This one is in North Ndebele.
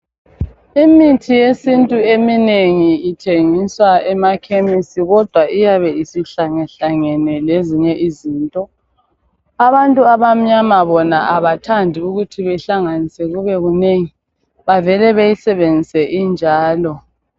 Imithi yesintu eminengi ithengiswa emakhemisi kodwa iyabe isihlangehlangene lezinye izinto. Abantu abamnyama bona abathandi ukuthi behlanganise kube kunengi, bavele beyisebenzise injalo.